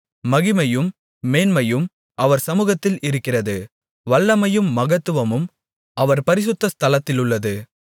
மகிமையும் மேன்மையும் அவர் சமுகத்தில் இருக்கிறது வல்லமையும் மகத்துவமும் அவர் பரிசுத்த ஸ்தலத்திலுள்ளது